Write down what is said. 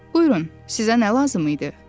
“Buyurun, sizə nə lazım idi?”